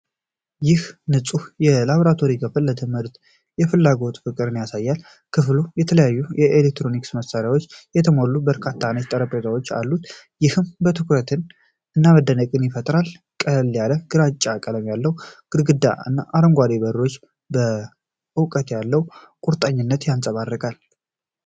ይህ ንጹሕ የላቦራቶሪ ክፍል ለትምህርት የፍላጎት ፍቅርን ያሳያል። ክፍሉ በተለያዩ የኤሌክትሮኒክስ መሣሪያዎች የተሞሉ በርካታ ነጭ ጠረጴዛዎች አሉት፤ ይህም ትኩረትን እና መደነቅን ይፈጥራል። ቀለል ያለ ግራጫ ቀለም ያለው ግድግዳ እና አረንጓዴ በሮች ለእውቀት ያለውን ቁርጠኝነት ያንፀባርቃሉ።